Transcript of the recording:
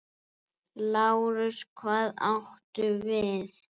LÁRUS: Hvað áttu við?